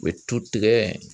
U bɛ tu tigɛ.